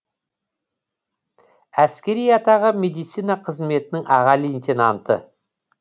әскери атағы медицина қызметінің аға лейтенанты